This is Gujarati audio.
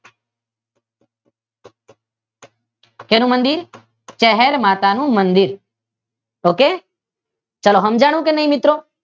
શેનું મંદીર ચહેર માતાનું મંદીર ઓકે ચાલો સમજાનું કે નહીં મિત્રો?